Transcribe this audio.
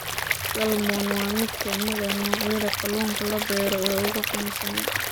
Salmon waa mid ka mid ah noocyada kalluunka la beero ee ugu caansan.